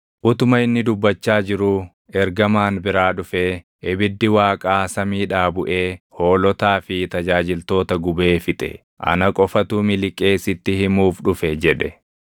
Utuma inni dubbachaa jiruu ergamaan biraa dhufee, “Ibiddi Waaqaa samiidhaa buʼee hoolotaa fi tajaajiltoota gubee fixe; ana qofatu miliqee sitti himuuf dhufe!” jedhe.